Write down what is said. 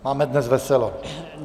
Máme dnes veselo.